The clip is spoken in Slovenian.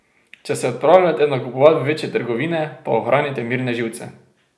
Če se odpravljate nakupovat v večje trgovine, pa ohranite mirne živce.